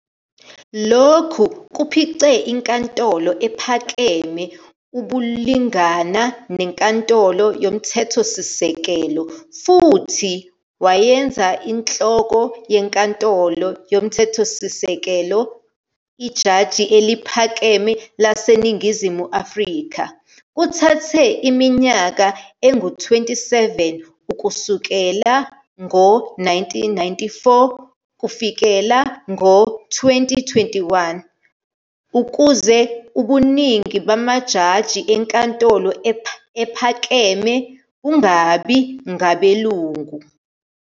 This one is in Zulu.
Lokhu kuphuce iNkantolo ePhakeme ubulingana neNkantolo YoMthethosisekelo futhi wayenza inhloko yeNkantolo yoMthethosisekelo iJaji eliPhakeme laseNingizimu Afrika. Kuthathe iminyaka eyi-27 kusukela izi-1994 kufikela izi-2021, ukuze ubuningi bamajaji eNkantolo Ephakeme bungabi ngabelungu.